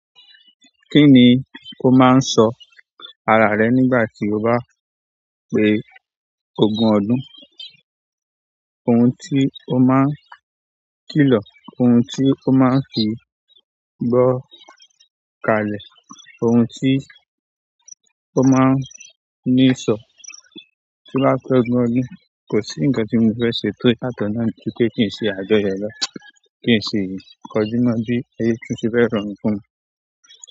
Kí ni kó máa ń sọ ara rẹ nígbà tí o bá pé ogún ọdún? Ohun tí ó máa ń kìlọ̀, ohun tí ó máa ń fi gbọ́ kalẹ̀, ohun tí ó máa ń ní sọ tí wà á pẹ́ ogun ọdún. Kò sí ǹkan tí mo fẹ́ ṣe tó yatọ́ nà ju pe kí n se àjọyọ̀ lọ, kí n sì kọjú mọ́ bí ẹyí tuntun ṣe fẹ́ rọrùn fún mí.